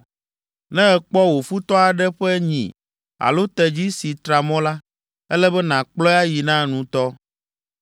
“Ne èkpɔ wò futɔ aɖe ƒe nyi alo tedzi si tra mɔ la, ele be nàkplɔe ayi na nutɔ.